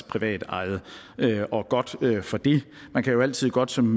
privatejet og godt for det man kan jo altid godt som